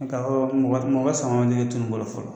U ka u ka sama ma deli ka tunu n bolo fɔlɔ.